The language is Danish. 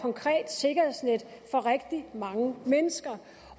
konkret sikkerhedsnet for rigtig mange mennesker